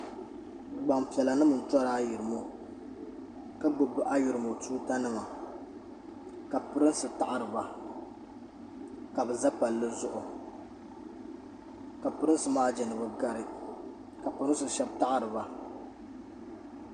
Gbampiɛlanima n-tori ayirimo ka gbubi ayirimo tuutanima ka Pirinsi taɣiri ba ka bɛ za palli zuɣu ka Pirinsi maa je ni bɛ gari ka Pirinsi shɛba taɣiri ba.